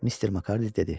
Mister Makardi dedi.